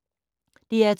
DR2